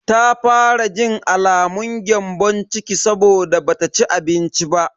Ta fara jin alamun gyambon ciki saboda bata ci abinci ba.